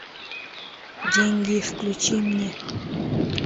деньги включи мне